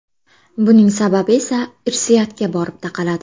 Buning sababi esa irsiyatga borib taqaladi.